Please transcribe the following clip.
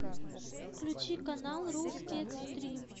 включи канал русский экстрим